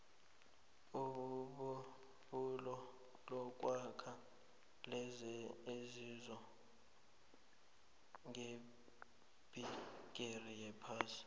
ibubulo lokwakha lenze inzuzo ngebhigiri yaphasi